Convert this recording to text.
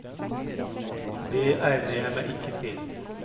Det egner jeg meg ikke til.